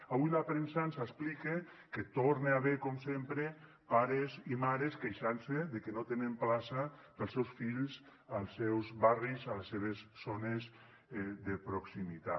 avui la premsa ens explica que hi torna a haver com sempre pares i mares queixant se de que no tenen plaça per als seus fills als seus barris a les seves zones de proximitat